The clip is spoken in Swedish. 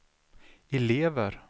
elever